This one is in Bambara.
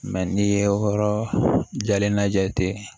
n'i ye yɔrɔ jalen na ja ten